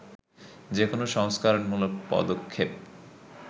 যে কোনো সংস্কারমূলক পদক্ষেপ